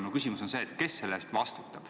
Minu küsimus on, kes selle eest vastutab.